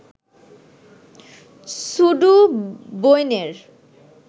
ছুডু বইনের